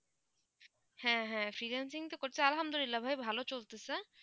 হ্যাঁ হ্যাঁ, freelancing তো করছি আলহামদুলিল্লাহ ভাই ভালো চলতেছে